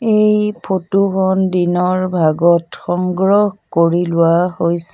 এই ফটো খন দিনৰ ভাগত সংগ্ৰহ কৰি লোৱা হৈ--